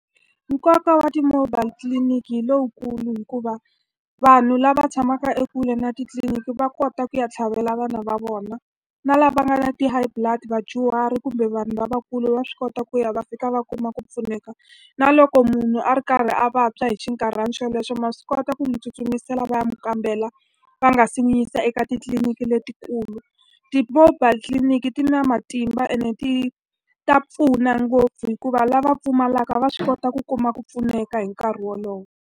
Nkoka wa ti-mobile clinic hi lowukulu hikuva vanhu lava tshamaka ekule na titliliniki va kota ku ya tlhavela vana va vona, na lava nga na ti-high blood, vadyuhari kumbe vanhu lavakulu va swi kota ku ya va fika va kuma ku pfuneka. Na loko munhu a ri karhi a vabya hi xinkarhana xolexo ma swi kota ku n'wi tsutsumisela va ya n'wi kambela va nga si n'wi yisa eka titliliniki letikulu. Ti-mobile tliliniki ti na matimba ene ti ta pfuna ngopfu hikuva lava pfumalaka va swi kota ku kuma ku pfuneka hi nkarhi wolowo.